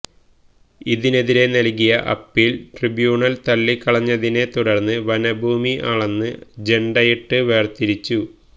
ഇതിനെതിരെ നല്കിയ appeal tribunal തള്ളിക്കളഞ്ഞതിനെ തുടര്ന്ന് വനഭൂമി അളന്ന് ജെണ്ടയിട്ട് വേര്തിച്ചു